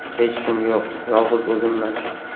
Hech kim yo‘q, yolg‘iz o‘zimman.